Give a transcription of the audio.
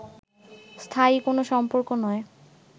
স্থায়ী কোন সম্পর্ক নয়